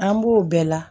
An b'o bɛɛ la